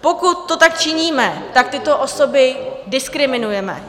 Pokud to tak činíme, tak tyto osoby diskriminujeme.